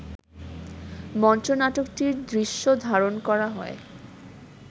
মঞ্চনাটকটির দৃশ্য ধারণ করা হয়